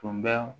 Tun bɛ